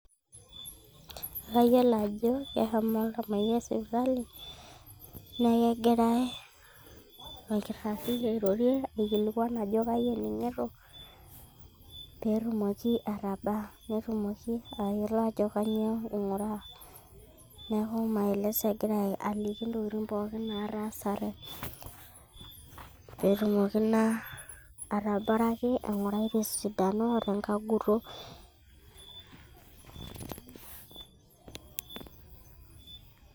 Ekayiolo ajo keshomo oltamoyiai sipitali nee ekegiray orkirrari airorie aikilikuan ajo kaji ening'ito peetumoki atabaa netumoki atayiolo ajo kanyioo ing'uraa neeku maeleso egira aliki ntokitin pookin naatasate peetumoki naa atabaraki aing'urai tesidano o tenkaguto.